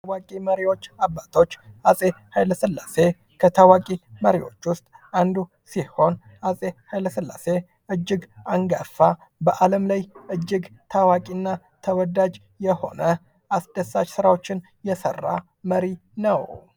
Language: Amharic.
ከታዋቂ መሪዎች ወይም አባቶች አፄ ሃይለስላሴ ከታዋቂ መሪዎች ውስጥ አንዱ ሲሆን አፄ ኃይለስላሴ እጅግ አንጋፋ በአለም ላይ እጅግ ታዋቂና ተወዳጅ የሆነ አስደሳች ስራዎችን የሰራ መሪ ነው።